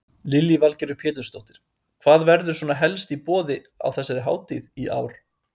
Lillý Valgerður Pétursdóttir: Hvað verður svona helst í boði á þessari hátíð í ár?